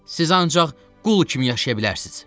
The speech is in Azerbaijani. Siz ancaq qul kimi yaşaya bilərsiniz.